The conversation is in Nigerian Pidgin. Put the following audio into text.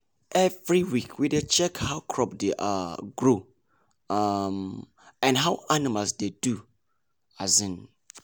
every week we dey check how crop dey um grow um and how animals dey do. um